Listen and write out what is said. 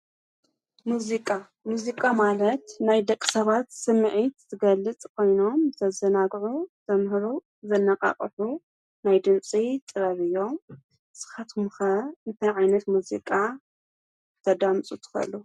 ሙዚቃ፣ ሙዚቃ ማለት ናይ ደቕ ሰባት ስምዕት ዝገልጽ ኾይኖም ዘዘናግዑ ዘምህሩ፣ ዘነቓቕሑ ናይ ድምፂ ጥበብ እዮም። ንስኻትኩምኸ እንተይ ዓይነት ሙዚቃ ተዳምጽ ትኸሉ?